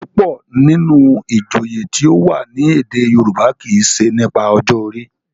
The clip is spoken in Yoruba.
púpọ nínú ìjòyè tíó wá ní èdè yorùbá kí ṣe nípa ọjọ orí.